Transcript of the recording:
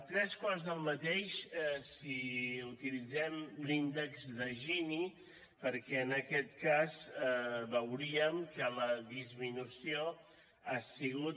tres quarts del mateix si utilitzem l’índex de gini perquè en aquest cas veuríem que la disminució ha sigut